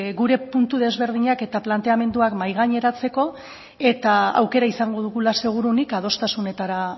gure puntu desberdinak eta planteamenduak mahai gaineratzeko eta aukera izango dugula seguruenik adostasunetara